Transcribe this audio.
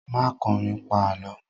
Má kọrin, pa Àlọ́!